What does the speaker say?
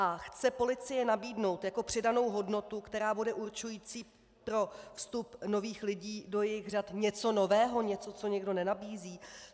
A chce policie nabídnout jako přidanou hodnotu, která bude určující pro vstup nových lidí do jejich řad, něco nového, něco, co nikdo nenabízí?